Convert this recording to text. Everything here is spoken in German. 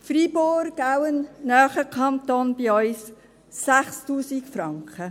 Freiburg, auch das ein Kanton, der in unserer Nähe liegt, 6000 Franken;